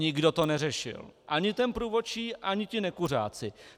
Nikdo to neřešil, ani ten průvodčí, ani ti nekuřáci.